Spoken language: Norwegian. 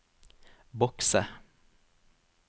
bokse